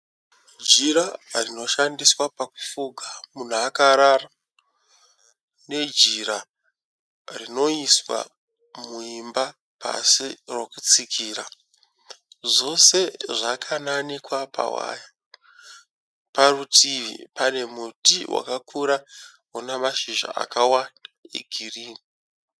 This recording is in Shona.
Jira rinoshandiswa pakufuga munhu akarara nejira rinoiswa muimba pasi rokutsikira, zvose zvakananikwa pawaya. Parutivi pane muti wakakura une mashizha akawanda egirini.